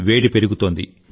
వేడి పెరుగుతోంది